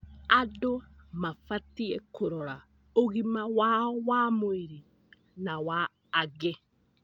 Andũ mabatiĩ kũrora ũgima wao wa mwĩrĩ na wa angĩ.